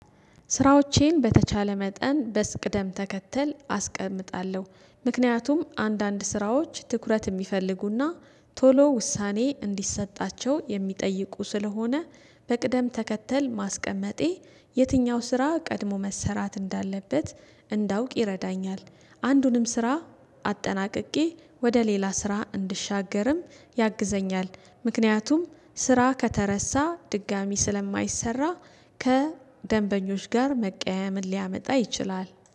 ስራዎቼን በተቻለ መጠን በቅደም ተከተል አስቀምጣለሁ። ምክንያቱም አንዳንድ ስራዎች ትኩረት የሚፈልጉና ቶሎ ውሳኔ እንዲሰጣቸው የሚጠይቁ ስለሆነ በቅደም ተከተል ማስቀመጤ የትኛው ስራ ቀድሞ መሰራት እንዳለበት እንዳውቅ ይረዳኛል። አንዱንም ስራ አጠናቅቄ ወደ ሌላ ስራ እንድሻገርም ያግዘኛል። ምክንያቱም ስራ ከተረሳ ድጋሚ ስለማይሰራ ከደንበኞች ጋር መቀያየምን ሊያመጣ ይችላል።